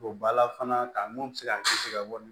Don bala fana ka mɔn bɛ se ka kisi ka bɔ